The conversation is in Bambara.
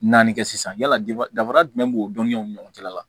Naani kɛ sisan yala danfara jumɛn b'o dɔnniyaw ni ɲɔgɔn cɛla la